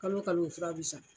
Kalo kalo o fura bɛ san.